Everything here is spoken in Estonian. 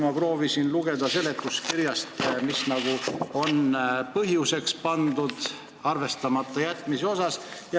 Ma proovisin seletuskirjast lugeda, mis on põhjuseks pandud, et see on arvestamata jäetud.